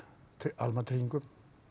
almannatryggingum